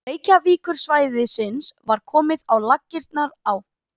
Reykjavíkursvæðisins var komið á laggirnar á